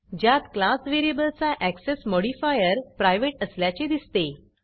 ज्यात क्लास व्हेरिएबलचा access modifier privateप्राइवेट असल्याचे दिसते